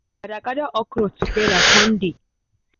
gather okra together con dey